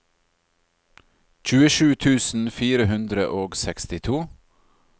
tjuesju tusen fire hundre og sekstito